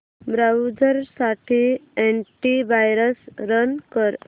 browser साठी anti virus run कर